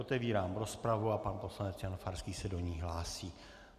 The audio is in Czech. Otevírám rozpravu a pan poslanec Jan Farský se do ní hlásí.